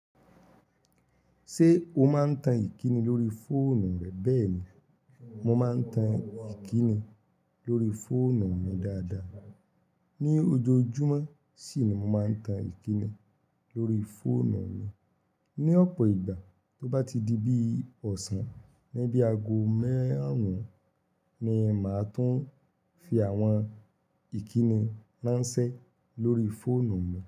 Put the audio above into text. Ṣé o máa ń tan ìkíni lórí fóònù rẹ bẹ́ẹ̀ ni, mo máa ń tan ìkíni lórí fóònù mi dáadáa. Ni ojoojúmọ́ sì ni mo máa ń tan ìkíni lórí fóònù mi. Ni ọ̀pọ̀ ìgbà tó bá ti di bí ọ̀sán níbí ago máàrún ni màá tún fi àwọn ìkíni ránṣẹ́ lórí fóònù mi.